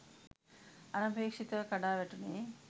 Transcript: අනපේක්ෂිතව කඩා වැටුනේ